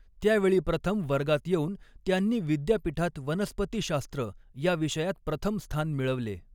त्या वेळी प्रथम वर्गात यॆऊन त्यांनी विद्यापीठात वनस्पतिशास्त्र या विषयात प्रथम स्थान मिळवले.